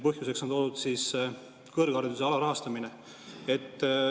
Põhjuseks on toodud kõrghariduse alarahastamine.